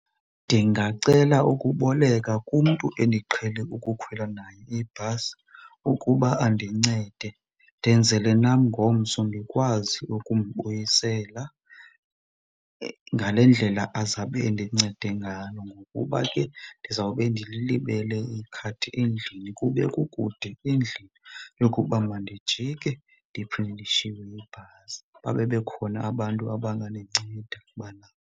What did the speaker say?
Ndingacela ukuboleka kumntu endiqhele ukukhwela naye ibhasi ukuba andincede, ndenzele nam ngomso ndikwazi ukumbuyisela ngale ndlela azabe endincede ngayoo. Ngokuba ke ndizawube ndililibele ikhadi endlini, kube kukude endlini yokuba mandijike ndiphinde ndishiywe yibhasi babe bekhona abantu abangandinceda ubana.